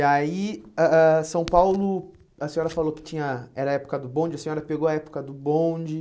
E aí, ah ah São Paulo, a senhora falou que tinha era a época do bonde, a senhora pegou a época do bonde.